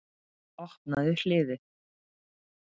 Opnaðu hliðið.